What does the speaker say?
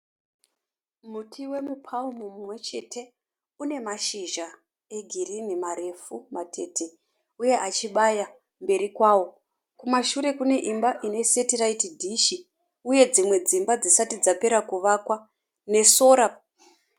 Muti wemu paumu umwe chete. Une mashizha egirini marefu matete uye achibaya kumberi kwawo. Kumashure kune imba ine setiraiti dhishi uye dzimwe dzimba dzisati dzapera kuvakwa nesora.